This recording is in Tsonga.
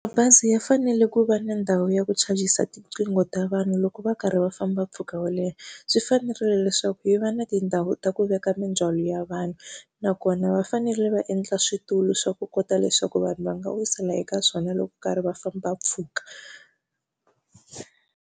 Mabazi ya fanele ku va na ndhawu ya ku chajisa tiqingho ta vanhu loko va karhi va famba mpfhuka wo leha. Swi fanerile leswaku yi va na tindhawu ta ku veka mindzhwalo ya vanhu nakona va fanele va endla switulu swa ku kota leswaku vanhu va nga wisela eka swona loko va karhi va famba mpfhuka.